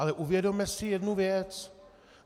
Ale uvědomme si jednu věc.